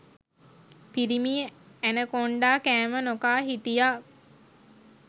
පිරිමි ඇනකොන්ඩා කෑම නොකා හිටියා